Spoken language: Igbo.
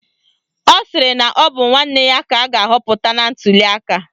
Ọ sịrị na ọ bụ nwanne ya ka a ga-ahọpụta na ntuliaka